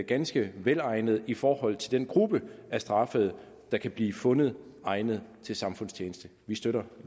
ganske velegnet i forhold til den gruppe af straffede der kan blive fundet egnet til samfundstjeneste vi støtter